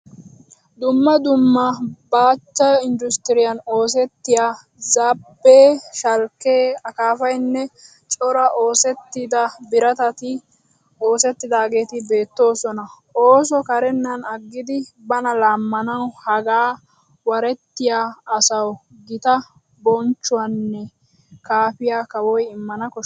Dumma dumma baachcha industriyan oosettiya zaabbee, shalkkee, akaafaynne cora osettida biratati oosettidaageetti beetteesona. Ooso karennan aggidi bana laammanawu hagaa warettiya asawu gita bonchchuwaanne kaafiya kawoy immana koshshees.